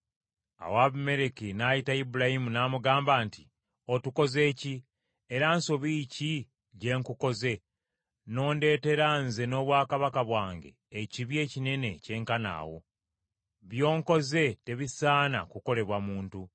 Awo Abimereki n’ayita Ibulayimu n’amugamba nti, “Otukoze ki? Era nsobi ki gye nkukoze, n’ondeetera nze n’obwakabaka bwange ekibi ekinene ekyenkana awo? By’onkoze tebisaana kukolebwa muntu.”